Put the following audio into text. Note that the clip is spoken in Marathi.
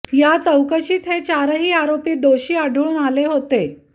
या चौकशांत हे चारही आरोपी दोषी आढळून आले होते